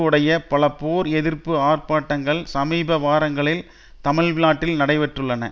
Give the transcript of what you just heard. உடைய பல போர் எதிர்ப்பு ஆர்ப்பாட்டங்கள் சமீப வாரங்களில் தமிழ்நாட்டில் நடைபெற்றுள்ளன